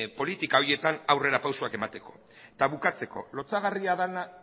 politika horietan aurrera pausuak emateko eta bukatzeko lotsagarria dena